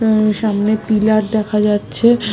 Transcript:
হুম সামনে পিলার দেখা যাচ্ছে--